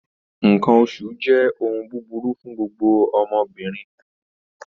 Nǹkan oṣù jẹ́ ohun búburú fún gbogbo ọmọbìnrin